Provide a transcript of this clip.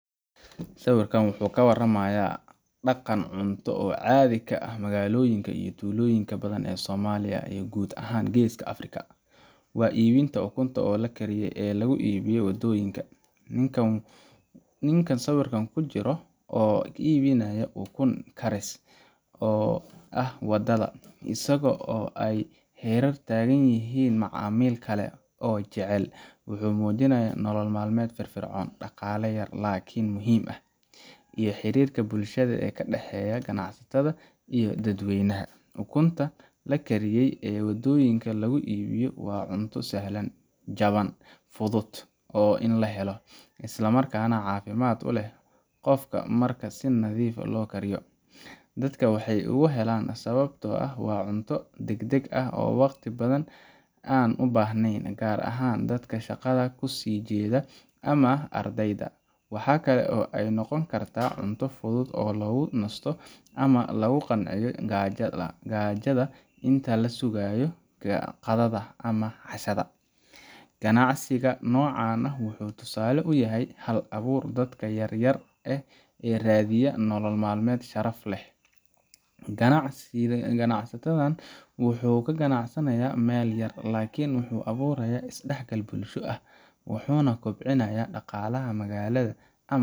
Sawiran wuxuu ka waramayaa daqan cunto oo cadhi ka ah magaaloyinka iyo tuloyinka badan ee somaliya iyo gud ahan geeska africa, ibinta ukunta ninka sawirkan kujiro oo ibinaya ukun karis oo wadadha isago oo ee hera tagan yihin macamil kale oo jacel, wuxuu mujinayaa nolol malmeed fir fircon daqale yar lakin muhiim eh iyo xirirka bulshaada ka daxeyo bulshaada dad weynaha ukunta lakariye ee wadoyiinka lagu ibiyo waa cunto sahlan jaban fuduud isla markas nah ukunta marki si fican lo kariyo dadka waxee oga helan sawabto ah deg deg ah oo waqti badan an u bahnen gar ahan dadka shaaqada kusijedha ama ardeyda, waxaa kale oo ee noqon kartaa cunto fuduud oo lagu nisto ama lagu qanciyo gajaada inta lasugayo qadhaada ama cashaada, ganacsiga nocan wuxuu yahay hal abur yar dadka radhiya nolol malmeed sharaf leh, ganacsatadhan wuxuu kaganacsanaya meel yar lakin wuxuu aburaya iadax gal bulsho ah wuxuna kobcinaya daqala ama.